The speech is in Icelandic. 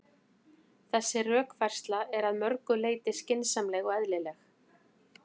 Þessi rökfærsla er að mörgu leyti skynsamleg og eðlileg.